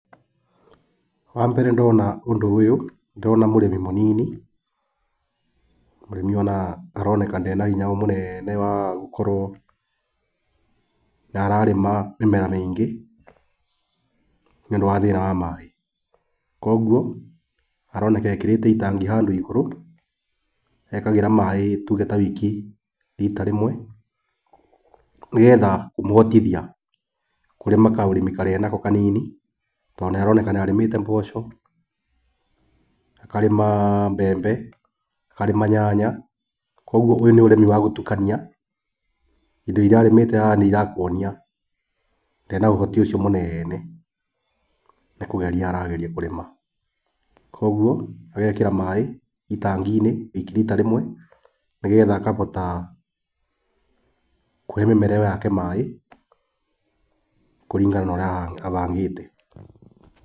Wambere ndona ũndũ ũyũ ndĩrona mũrĩmi mũnini. Mũrĩmi aroneka ndarĩ na hinya mũnene wa gũkorwo nĩararĩma mĩmera mĩingĩ, nĩũndũ wa thĩna wa maaĩ. Koguo aroneka ekĩrĩte itangi handũ igũrũ, ekagĩra maaĩ tuge ta wiki rita rĩmwe, nĩgetha kũmũhotithia kũrĩma kaũrĩmi karĩa enako kanini, tondũ nĩaroneka nĩarĩmĩte mboco, akarĩma mbembe, akarĩma nyanya. Koguo ũyũ nĩ ũrĩmi wa gũtukania, indo iria arĩmĩte haha nĩirakuonia ndarĩ na ũhoti ũcio mũnene, nĩ kũgeria arageria kũrĩma. Koguo, agekĩra maaĩ itangi-inĩ wiki rita rĩmwe, nĩgetha akahota kũhe mĩmera iyo yake maaĩ kũringana na ũrĩa abangĩte.